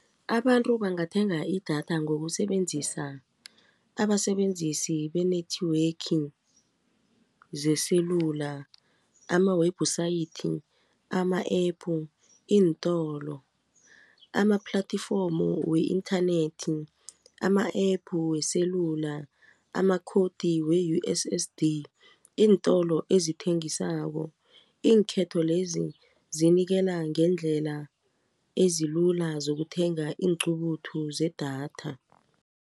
Abantu bangathenga idatha ngokusebenzisa abasebenzisi be-network zeselula ama-website ama-App, iintolo ama-platforms we-inthanethi, ama-App weselula amakhodi we-U_S_S_D iintolo ezithengisako iinkhetho lezi zinikela ngendlela ezilula zokuthenga iinqubuthu zedatha.